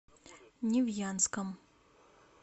невьянском